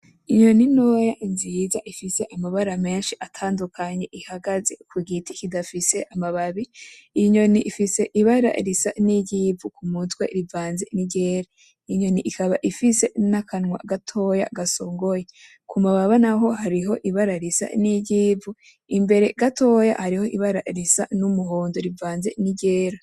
Inyoni ntoya nziza ifise amabara menshi atadukanye ihagaze kugita kudafise amababi, iyo nyoni ifise ibara risa nkiry'ivu kumutwe rivaze ni ryera, inyoni ikaba ifise akanwa gatoyi gasogoye kumababa naho har'ibara risa niry'ivu imbere gatoyi hari ibara risa numuhondo rivaze n'iryera.